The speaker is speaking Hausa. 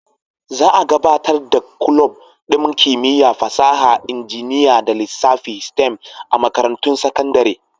Za a gabatar da kulob ɗin Kimiyya, Fasaha, Injiniya da Lissafi (STEM) a makarantun sakandare.